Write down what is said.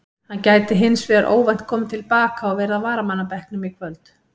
Hann gæti hins vegar óvænt komið til baka og verið á varamannabekknum í kvöld.